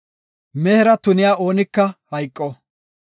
“Mehera tuniya oonika hayqo.